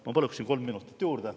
Ma palun kolm minutit juurde.